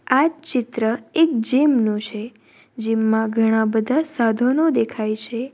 આ ચિત્ર એક જીમ નું છે જીમ માં ઘણા બધા સાધનો દેખાય છે.